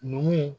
Numuw